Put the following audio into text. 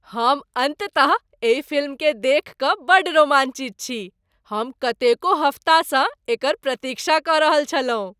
हम अन्ततः एहि फिल्मकेँ देखि कऽ बड्ड रोमाञ्चित छी! हम कतेको हफ्तासँ एकर प्रतीक्षा कऽ रहल छलहुँ।